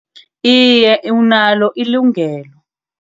Iye, unalo ilungelo.